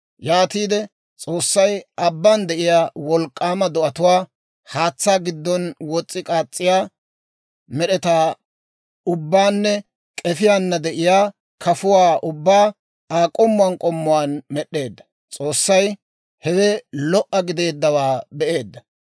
Yaatiide S'oossay abbaan de'iyaa wolk'k'aamaa do'atuwaa, haatsaa giddon wos's'i k'aas's'iyaa med'etaa ubbaanne k'efiyaana de'iyaa kafuwaa ubbaa Aa k'ommuwaan k'ommuwaan med'd'eedda. S'oossay hewe lo"a gideeddawaa be'eedda.